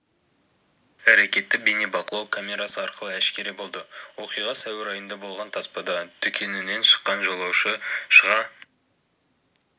әрекеті бейнебақылау камерасы арқылы әшкере болды оқиға сәуір айында болған таспада дүкенінен шыққан жолаушы шыға